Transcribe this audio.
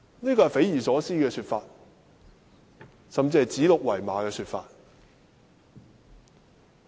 這是匪夷所思的說法，甚至是指鹿為馬的說法。